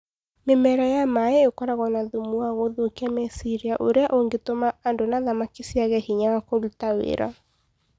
Mĩmera ĩyo ya maaĩ ĩkoragwo na thumu wa gũthũkia meciria ũrĩa ũngĩtũma andũ na thamaki ciage hinya wa kũruta wĩra.